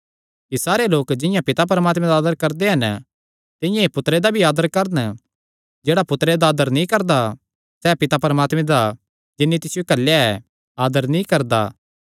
कि सारे लोक जिंआं पिता परमात्मे दा आदर करदे हन तिंआं ई पुत्तरे दा भी आदर करन जेह्ड़ा पुत्तरे दा आदर नीं करदा सैह़ पिता परमात्मे दा जिन्नी तिसियो घल्लेया ऐ आदर नीं करदा